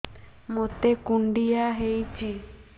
ମୋତେ କୁଣ୍ଡିଆ ହେଇଚି